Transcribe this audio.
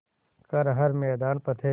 कर हर मैदान फ़तेह